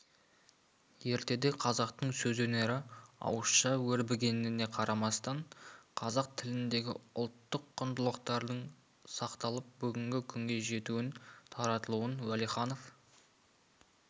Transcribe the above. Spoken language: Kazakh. ертеде қазақтың сөз өнері ауызша өрбігеніне қарамастан қазақ тіліндегі ұлттық құндылықтардың сақталып бүгінгі күнге жетуін таратылуын уәлиханов